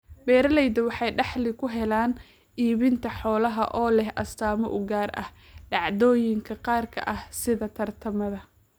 Beeralaydu waxay dakhli ku helaan iibinta xoolaha oo leh astaamo u gaar ah dhacdooyinka gaarka ah sida tartamada.